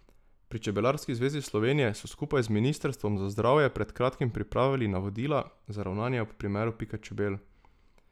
Pri Čebelarski zvezi Slovenije so skupaj z ministrstvom za zdravje pred kratkim pripravili navodila za ravnanje ob primeru pika čebel.